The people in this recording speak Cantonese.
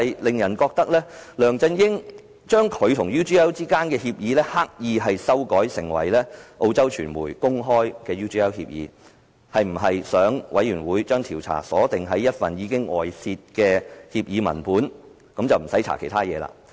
梁振英將他與 UGL 之間的協議，刻意修改成為澳洲傳媒公開的 UGL 協議，是否想專責委員會將調查鎖定於一份已經外泄的協議文本，不用調查其他事情？